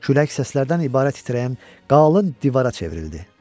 Külək səslərdən ibarət itirəyən qalın divara çevrildi.